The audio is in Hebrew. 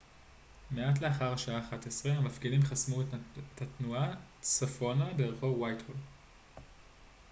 מעט לאחר השעה 11:00 המפגינים חסמו את התנועה צפונה ברחוב וייטהול